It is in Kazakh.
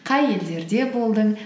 қай елдерде болдың